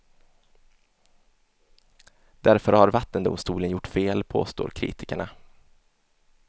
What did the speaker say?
Därför har vattendomstolen gjort fel, påstår kritikerna.